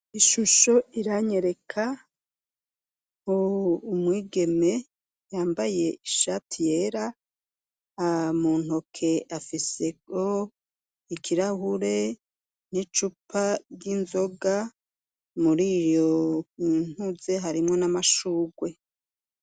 Ishusho iranyereka umwigeme yambaye ishati yera muntoke afiseho ikirahure n'icupa ry'inzoga muri iyo intuze harimwo n'amashurwe.